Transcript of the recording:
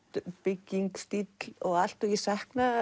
bygging stíll og allt ég sakna